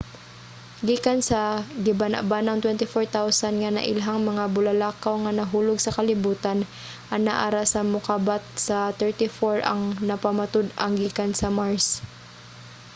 gikan sa gibana-banang 24,000 nga nailhang mga bulalakaw nga nahulog sa kalibutan anaa ra sa mokabat sa 34 ang napamatud-ang gikan sa mars